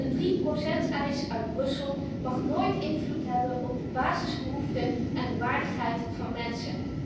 Een 3 eis uit Brussel mag nooit invloed hebben op de basisbehoeften en de waardigheid van mensen.